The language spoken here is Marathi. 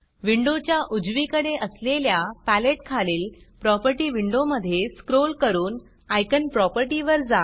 विंडोच्या उजवीकडे असलेल्या पॅलेट खालील प्रॉपर्टी विंडोमधे स्क्रॉल करून Iconआयकॉन प्रॉपर्टीवर जा